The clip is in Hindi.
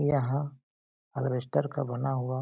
यहाँ अल्वेसटर का बना हुआ --